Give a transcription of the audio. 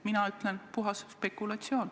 Mina ütlen, et see on puhas spekulatsioon.